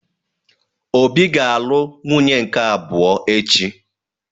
Obi ga-alụ nwunye nke abụọ echi.